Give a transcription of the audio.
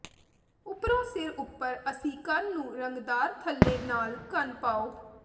ਉੱਪਰੋਂ ਸਿਰ ਉਪਰ ਅਸੀਂ ਕੰਨ ਨੂੰ ਰੰਗਦਾਰ ਥੱਲੇ ਨਾਲ ਕੰਨ ਪਾਉ